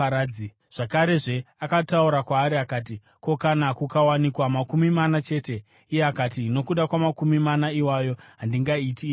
Zvakarezve akataura kwaari akati, “Ko, kana kukawanikwa makumi mana chete?” Iye akati, “Nokuda kwamakumi mana iwayo, handingaiti izvozvo.”